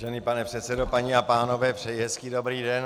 Vážený pane předsedo, paní a pánové, přeji hezký dobrý den.